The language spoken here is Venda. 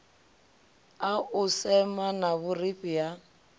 a u semana vhurifhi ha